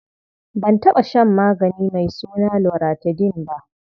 Ban taɓa shan magani mai suna loratadin ba.